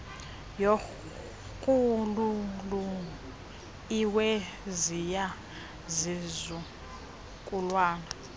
yorhuululu iweziya zizukulwana